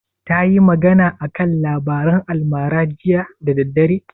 Tayi magana a kan labaran almara jiya da daddare?